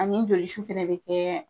Ani jolisu fɛnɛ be kɛ